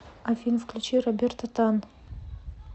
афина включи роберто тан